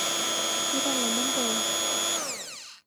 Kiiro lomon pooki